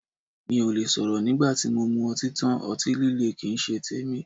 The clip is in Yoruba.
Mí ò le sọ̀rọ̀ nígbà tí mo mu ọtí tán, ọtí líle kín ń ṣe tèmi.